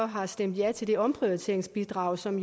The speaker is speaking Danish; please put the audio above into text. har stemt ja til det omprioriteringsbidrag som